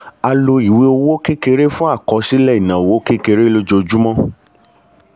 a lo ìwé owó kekere fún àkọsílẹ̀ ináwó kékeré lojoojúmọ́.